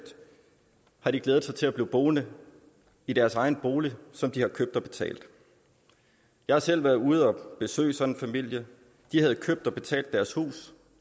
har glædet sig til at blive boende i deres egen bolig som de har købt og betalt jeg har selv været ude og besøge sådan en familie de havde købt og betalt deres hus